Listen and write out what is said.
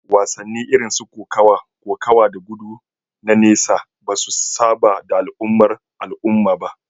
Wasanni irin su kokawa, kokawa da gudu na nesa ba su saba da al'ummar al'umma ba